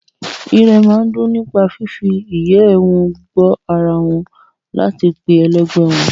Irẹ̀ máa ń dùn nípa fífi ìyẹ́ ẹ wọn gbo ara wọn láti pe ẹlẹgbẹ́ wọn